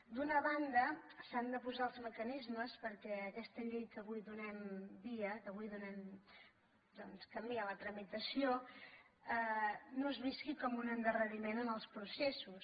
d’una banda s’han de posar els mecanismes perquè aquesta llei que avui donem via donem camí a la tramitació no es visqui com un endarreriment en els processos